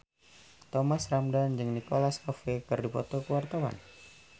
Thomas Ramdhan jeung Nicholas Cafe keur dipoto ku wartawan